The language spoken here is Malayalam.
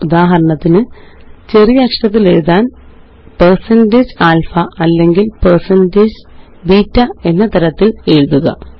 ഉദാഹരണത്തിന് ചെറിയ അക്ഷരത്തില് എഴുതാന്alpha അല്ലെങ്കില്160beta എന്ന തരത്തില് എഴുതുക